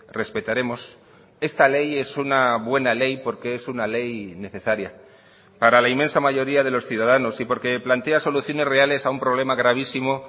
respetaremos esta ley es una buena ley porque es una ley necesaria para la inmensa mayoría de los ciudadanos y porque plantea soluciones reales a un problema gravísimo